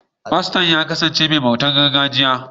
Faston ya kasance mai bautar gargajiya.